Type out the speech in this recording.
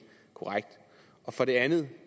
korrekt for det andet